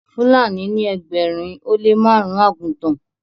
Fúlàní ní ẹgbẹrin o le marun àgùtàn